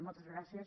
moltes gràcies